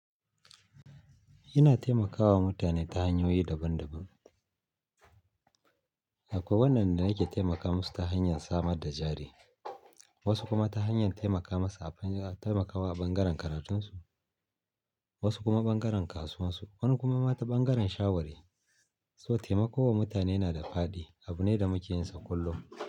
Yana taimakawa mutane ta hanyoyi daban daban. Akwai waɗanda yake taimaka musu ta hanyar samar da jari, wasu kuma ta hanyar taimaka masa a bunya-- taimakawa ɓangaren karatunsu, wasu kuma ɓangaren kasuwansu, wani kuma ma ta ɓangaren shawari. So taimako wa mutane yanada fadi, abune da muke yinsa kullum.